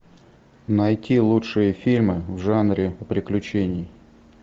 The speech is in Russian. найти лучшие фильмы в жанре приключений